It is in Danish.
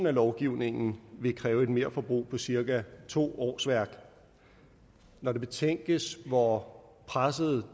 af lovgivningen vil kræve et merforbrug på cirka to årsværk når det betænkes hvor presset